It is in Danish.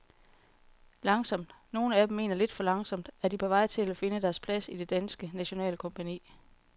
Langsomt, nogle af dem mener lidt for langsomt, er de på vej til at finde deres plads i det danske nationalkompagni.